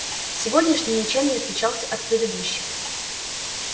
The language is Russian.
сегодняшний ничем не отличался от предыдущих